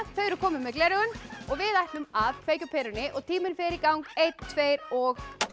þau eru komin með gleraugun við ætlum að kveikja á perunni og tíminn fer í gang einn tveir og